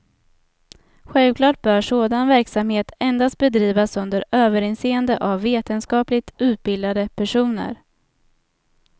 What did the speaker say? Självklart bör sådan verksamhet endast bedrivas under överinseende av vetenskapligt utbildade personer.